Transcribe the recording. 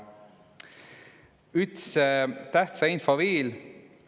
Üts tähtsa info viil.